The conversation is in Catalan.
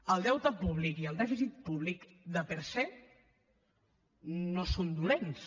el deute públic i el dèficit públic per se no són dolents